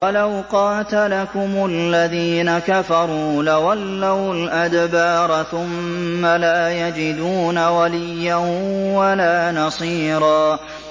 وَلَوْ قَاتَلَكُمُ الَّذِينَ كَفَرُوا لَوَلَّوُا الْأَدْبَارَ ثُمَّ لَا يَجِدُونَ وَلِيًّا وَلَا نَصِيرًا